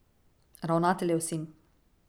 Ravnateljev sin.